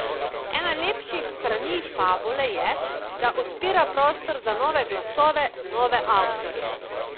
Ena lepših strani Fabule je, da odpira prostor za nove glasove, nove avtorje.